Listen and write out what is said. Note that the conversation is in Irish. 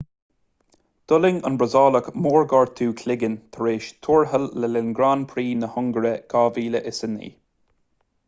d'fhulaing an brasaíleach mórghortú cloiginn tar éis tuairteáil le linn grand prix na hungáire 2009